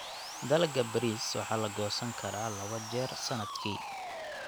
Dalagga bariis waxaa la goosan karaa labo jeer sanadkii.